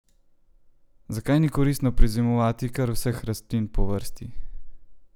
Zakaj ni koristno prezimovati kar vseh rastlin po vrsti?